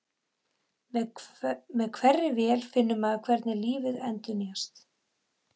Með hverri vél finnur maður hvernig lífið endurnýjast.